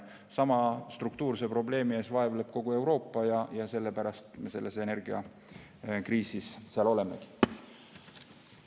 Sama struktuurse probleemi käes vaevleb kogu Euroopa ja sellepärast me praegu energiakriisis olemegi.